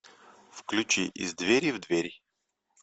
включи из двери в дверь